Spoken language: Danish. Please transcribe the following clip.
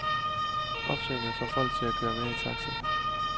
Opsvinget får folk til at køre mere i taxi.